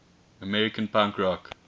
american punk rock